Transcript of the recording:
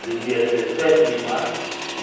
Era o dia deesete de março de